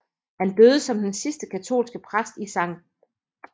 Han døde som den sidste katolske præst i St